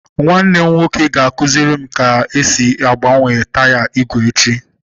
Nwanne m nwoke ga-akụziri m ka m ga-esi gbanwee taya igwe echi.